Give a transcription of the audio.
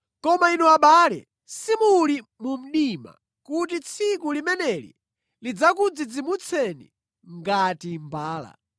Koma inu abale, simuli mu mdima kuti tsiku limeneli lidzakudzidzimutseni ngati mbala.